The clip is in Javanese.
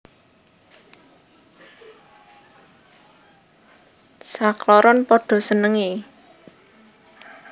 Sakloron padha senengé